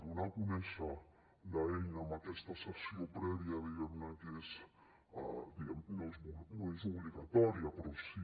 donar a conèixer l’eina amb aquesta sessió prèvia diguem ne que no és obligatòria però sí